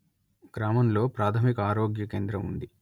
గ్రామంలో ప్రాథమిక ఆరోగ్య కేంద్రం ఉంది